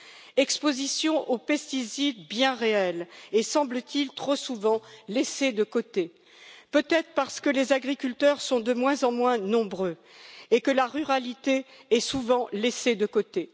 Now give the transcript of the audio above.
Une exposition aux pesticides bien réelle et, semble t il, trop souvent laissée de côté, peut être parce que les agriculteurs sont de moins en moins nombreux et que la ruralité est souvent laissée de côté.